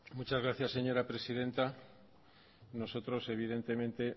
muchas gracias señora presidenta nosotros evidentemente